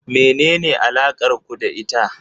Menene alakar ku da ita?